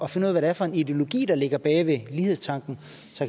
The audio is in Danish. finde ud af hvad for en ideologi der ligger bag ved lighedstanken